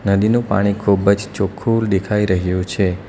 નદીનું પાણી ખૂબ જ ચોખ્ખું દેખાઈ રહ્યું છે.